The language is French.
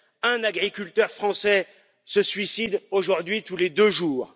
Un agriculteur français se suicide aujourd'hui tous les deux jours.